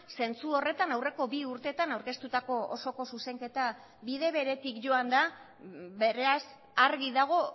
zentzu horretan aurreko bi urteetan aurkeztutako osoko zuzenketa bide beretik joan da beraz argi dago